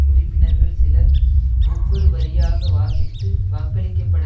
உறுப்பினர்கள் சிலர் ஒவ்வொரு வரியாக வாசித்து வாக்களிக்கப்பட